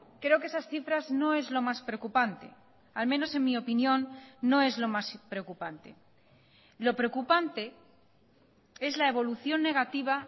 creo que esas cifras no es lo más preocupante al menos en mi opinión no es lo más preocupante lo preocupante es la evolución negativa